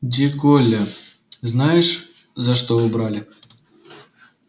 де голля знаешь за что убрали